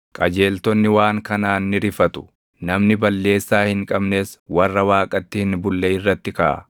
Qajeeltonni waan kanaan ni rifatu; namni balleessaa hin qabnes warra Waaqatti hin bulle irratti kaʼa.